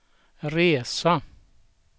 resa